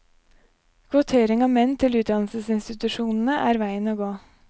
Kvotering av menn til utdannelsesinstitusjonene er veien å gå.